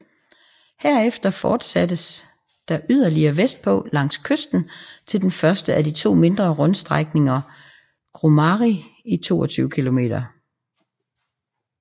Herefter fortsattes der yderligere vestpå langs kysten til den første af de to mindre rundstrækninger Grumari i 22 km